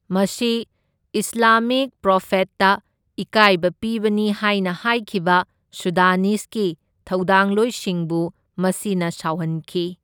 ꯃꯁꯤ ꯏꯁꯂꯥꯃꯤꯛ ꯄ꯭ꯔꯣꯐꯦꯠꯇ ꯏꯀꯥꯏꯕ ꯄꯤꯕꯅꯤ ꯍꯥꯏꯅ ꯍꯥꯏꯈꯤꯕ ꯁꯨꯗꯥꯅꯤꯁꯒꯤ ꯊꯧꯗꯥꯡꯂꯣꯏꯁꯤꯡꯕꯨ ꯃꯁꯤꯅ ꯁꯥꯎꯍꯟꯈꯤ꯫